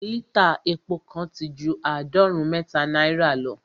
lítà epo kan ti ju àádọ́rùn-ún mẹ́ta naira